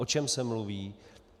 O čem se mluví?